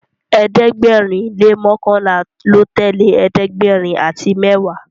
ẹ̀ẹ́dẹ̀gbẹ̀rin le mọkanla ló tẹlẹ ẹ̀ẹ́dẹ̀gbẹ̀rin àti mẹwa